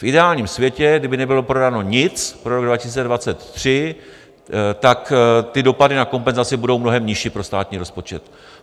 V ideálním světě, kdyby nebylo prodáno nic pro rok 2023, tak ty dopady na kompenzace budou mnohem nižší pro státní rozpočet.